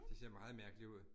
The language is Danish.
Det ser meget mærkeligt ud